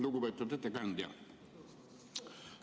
Lugupeetud ettekandja!